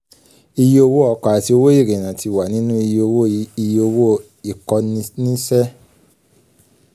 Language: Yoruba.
iye owó ọkọ̀ àti owó ìrìnnà ti wà nínú iye owó iye owó ìkọ́niníṣẹ́.